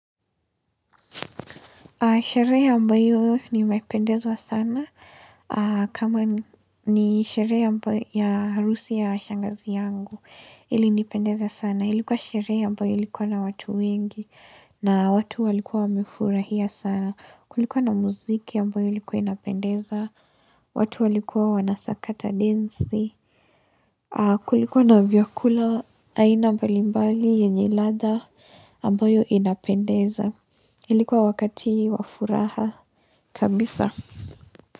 Sherehe ambayo nimependezwa sana. Kama ni sherehe amba ya harusi ya shangazi yangu. Ilinipendeza sana. Ilikuwa sherehe ambayo ilikuwa na watu wengi na watu walikuwa wamefurahia sana. Kulikuwa na muziki ambayo likuwa inapendeza. Watu walikuwa wanasakata densi. Kulikuwa na vyakula aina mbali mbali yenye ladha ambayo inapendeza. Ilikuwa wakati wa furaha kabisa.